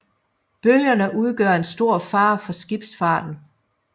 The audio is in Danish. Bølgerne udgør en stor fare for skibsfarten